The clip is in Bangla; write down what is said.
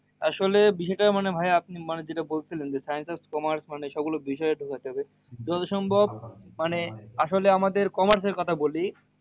আসল বিষয়টা মানে ভাই আপনি মানে যে টা বলছিলেন যে, science আর commerce মানে সব গুলো বিষয় এ ঢুকাতে হবে। যতসম্ভব মানে আসল এ আমাদের commerce এর কথা বলি,